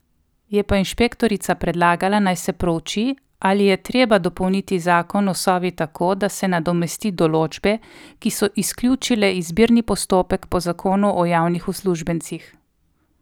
Je pa inšpektorica predlagala, naj se prouči, ali je treba dopolniti zakon o Sovi tako, da se nadomesti določbe, ki so izključile izbirni postopek po zakonu o javnih uslužbencih.